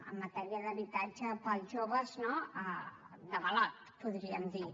en matèria d’habitatge per als joves no d’avalot en podríem dir